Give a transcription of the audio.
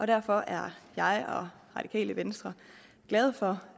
derfor er jeg og radikale venstre glade for